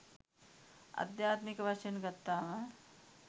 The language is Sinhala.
අද්යාත්මික වශයෙන් ගත්තාම